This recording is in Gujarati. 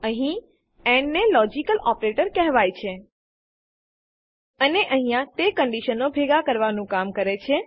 અહીં એન્ડ ને લોજીકલ ઓપરેટર કહેવાય છે અને અહીંયા તે કંડીશનોને ભેગા કરવાનું કામ કરે છે